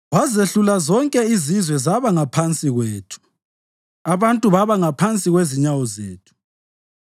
Wazehlula zonke izizwe zaba ngaphansi kwethu, abantu babangaphansi kwezinyawo zethu.